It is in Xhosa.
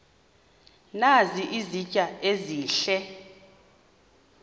nazi izitya ezihle